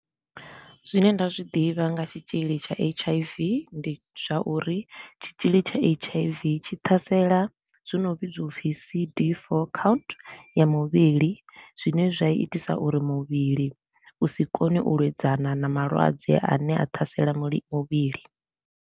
Zwine nda zwi ḓivha nga tshitshili tsha H_I_V, ndi zwa uri tshitshili tsha H_I_V tshi ṱhasela zwi no vhidzwa C_D four count ya muvhili zwine zwa itisa uri muvhili u si kone u lwedzana na malwadze a ne a ṱhasela muli muvhili.